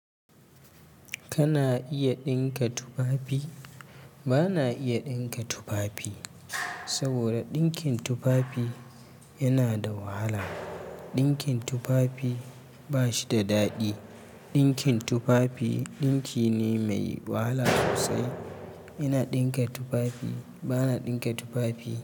Kana iya ɗinka tufafi? Ba na iya ɗinka tufafi. Saboda dinkin tufafi yana da wahala. Dinkin tufafi ba shi da daɗi. Dinkin tufafi dinki ne mai wahala sosai. Ina ɗinka tufafi. Ba na ɗinka tufafi.